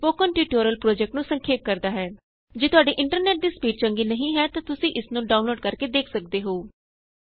ਇਹ spoken tutorial project ਨੂੰ ਸੰਖੇਪ ਕਰਦਾ ਹੈ ਜੇ ਤੁਹਾਡੇ ਇੰਟਰਨੈਟ ਦੀ ਸਪੀਡ ਚੰਗੀ ਨਹੀਂ ਹੈ ਤਾਂ ਤੁਸੀਂ ਇਸ ਨੂੰ ਡਾਊਨਲੋਡ ਕਰਕੇ ਦੇਖ ਸਕਦੇ ਹੋ